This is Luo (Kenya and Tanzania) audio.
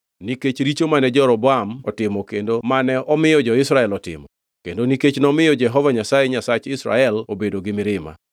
nikech richo mane Jeroboam otimo kendo mane omiyo Israel otimo, kendo nikech nomiyo Jehova Nyasaye Nyasach Israel obedo gi mirima.